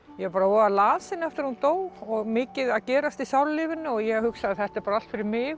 ég var voða lasin eftir að hún dó og mikið að gerast í sálarlífinu og ég hugsaði þetta er allt fyrir mig